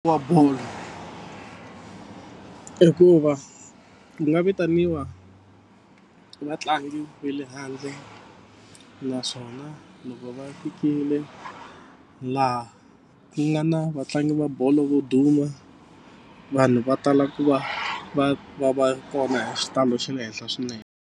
Wa bolo hikuva u nga vitaniwa vatlangi ve le handle naswona loko va fikile laha ku nga na vatlangi va bolo vo duma vanhu va ta lava ku va va va va kona hi xitalo xa le henhla swinene.